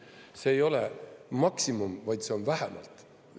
See ei ole maksimum, vaid see on vähemalt.